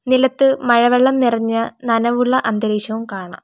നിലത്ത് മഴവെള്ളം നിറഞ്ഞ നനവുള്ള അന്തരീക്ഷവും കാണാം.